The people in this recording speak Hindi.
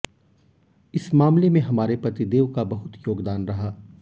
इस मामले में हमारे पतिदेव का बहुत योगदान रहा